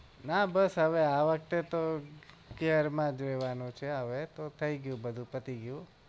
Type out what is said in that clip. ના બસ હવે આ વખતે તો care માં જ રેહવાનો જ છુ છે હવે તો થઇ ગયું બધું પતી ગયું